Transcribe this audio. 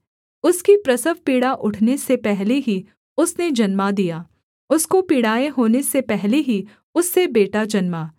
उसकी प्रसवपीड़ा उठने से पहले ही उसने जन्मा दिया उसको पीड़ाएँ होने से पहले ही उससे बेटा जन्मा